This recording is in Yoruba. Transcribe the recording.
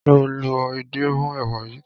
Ṣé o lọ edé mọ́ èwà yìí?